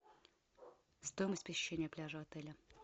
стоимость посещения пляжа отеля